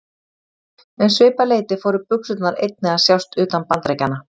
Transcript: Um svipað leyti fóru buxurnar einnig að sjást utan Bandaríkjanna.